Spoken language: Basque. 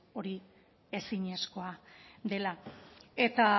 hori ezinezkoa dela eta